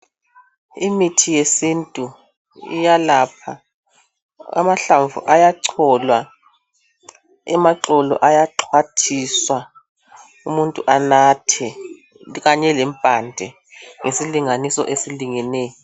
Imithi yesintu iyelapha amahlamvu ayacholwa, amaxolo ayaxhwathiswa umuntu anathe kanye lempande ngesilinganiso esilingeneyo.